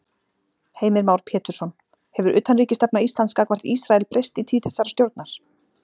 Heimir Már Pétursson: Hefur utanríkisstefna Íslands gagnvart Ísrael breyst í tíð þessarar stjórnar?